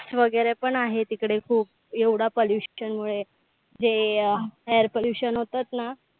Test वगैरे पण आहेत तिकडे खूप एवढ्या परिष्ठेमुळे. जे air pollution होतात ना,